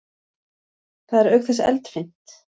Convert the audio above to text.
Það er auk þess eldfimt.